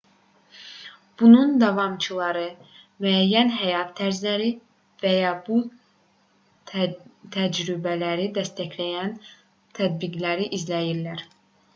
bunun davamçıları müəyyən həyat tərzlərini və ya bu təcrübələri dəstəkləyən tətbiqləri izləyirlər